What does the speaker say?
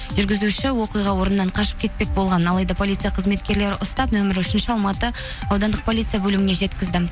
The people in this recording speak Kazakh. жүргізуші оқиға орнынан қашып кетпек болған алайда полиция қызметкерлері ұстап нөмірі үшінші алматы аудандық полиция бөліміне жеткізді